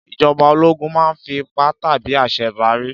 Ìjọba ológun máa ń fi ipá tàbí àṣẹ darí.